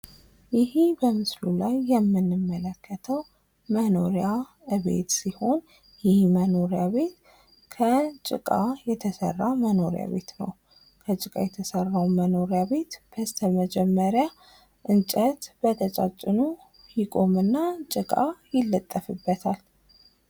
ይህ በምስሉ ላይ የምንመለከተው መኖሪያ ቤት ሲሆን ይህ መኖሪያ ቤት ከጭቃ የተሰራ መኖሪያ ቤት ነው። ከጭቃ የተሰራው መኖሪያ ቤት በስተመጀመሪያ እንጨት በቀጫጭኑ ይቆም እና ጭቃ ይለጠፍበታል።